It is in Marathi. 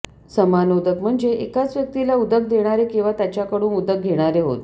समानोदक म्हणजे एकाच व्यक्तीला उदक देणारे किंवा त्याच्याकडून उदक घेणारे होत